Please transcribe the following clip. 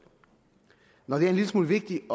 når det er en lille smule vigtigt